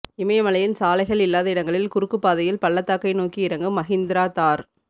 இமயமலையின் சாலைகள் இல்லாத இடங்களில் குறுக்குப் பாதையில் பள்ளத்தாக்கை நோக்கி இறங்கும் மஹிந்திரா தார்